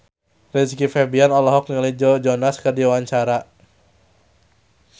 Rizky Febian olohok ningali Joe Jonas keur diwawancara